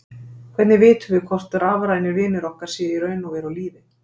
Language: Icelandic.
Hvernig vitum við hvort rafrænir vinir okkar séu í raun og veru á lífi?